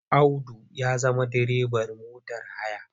Audu ya zama direban motar haya.